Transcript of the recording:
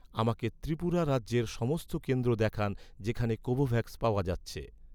আমাকে ত্রিপুরা রাজ্যের সমস্ত কেন্দ্র দেখান, যেখানে কোভোভ্যাক্স পাওয়া যাচ্ছে